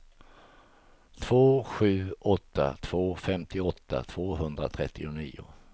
två sju åtta två femtioåtta tvåhundratrettionio